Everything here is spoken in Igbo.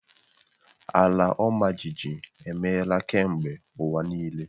Ala ọmajiji emeela kemgbe ụwa niile.